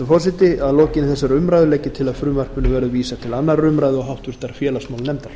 forseti að lokinni þessari umræðu legg ég til að frumvarpinu verði vísað til annarrar umræðu og háttvirtur félagsmálanefndar